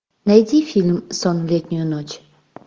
найди фильм сон в летнюю ночь